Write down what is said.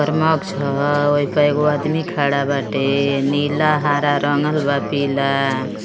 परमाक्ष ह। ओही प एगो आदमी खड़ा बाटे। नीला हरा रंगल बा पीला।